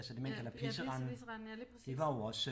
Ja ja pisse Pisserenden ja lige præcis